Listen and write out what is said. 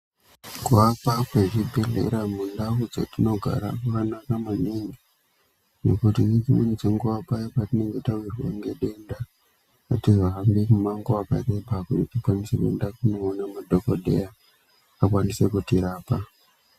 Kuvakwa kwezvibhehlera mundaun dzetinogara kwakanaka maningi nekuti ngedzimweni dzenguwa paya patinenge tawirwa nedenda atihambi mumango wakareba kuti tikwanise kundoona madhokodheya vakwanise kutirapa.